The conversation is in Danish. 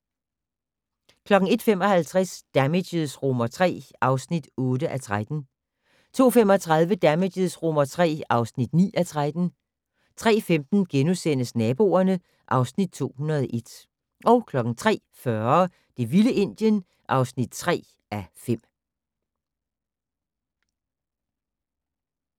01:55: Damages III (8:13) 02:35: Damages III (9:13) 03:15: Naboerne (Afs. 201)* 03:40: Det vilde Indien (3:5)